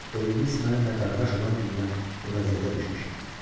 O iblis mənimlə qardaş olan gündən bu vəziyyətə düşmüşəm.